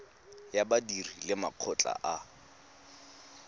ya badiri le makgotla a